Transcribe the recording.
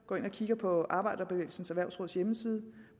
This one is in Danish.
gå ind og kigge på arbejderbevægelsens erhvervsråds hjemmeside